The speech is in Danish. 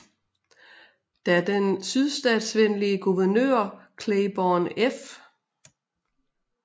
Da den sydstatsvenlige guvernør Claiborne F